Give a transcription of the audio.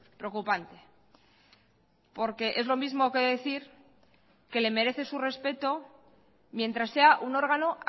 preocupante porque es lo mismo que decir que le merece su respeto mientras sea un órgano